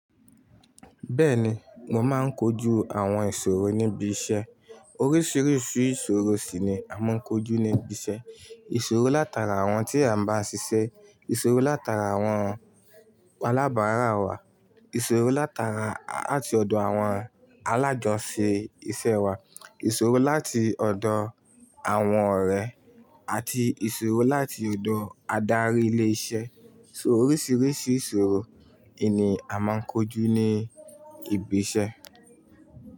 Bẹ́ẹ̀ni, mo máa ń kojú àwọn ìṣòro níbi iṣẹ́. Oríṣiríṣi ìṣòro sì ni a máa ń kojú ní ibi iṣẹ́. Ìṣòro látara àwọn tí a ń bá ṣiṣẹ́, ìṣòro látara àwọn alábàárà wa, ìṣòro látara àti ọ̀dọ̀ àwọn alájo sisẹ iṣẹ́ wa, ìṣòro láti ọ̀dọ̀ àwọn ọ̀rẹ́ àti ìṣòro láti ọ̀dọ̀ adarí ilé iṣẹ́. So oríṣiríṣi ìṣòro ni a máa ń kojú ní ibi iṣẹ́